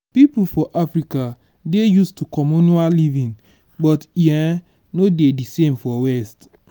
pipo for africa dey used to communal living but e um no dey di same for west